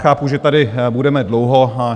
Chápu, že tady budeme dlouho.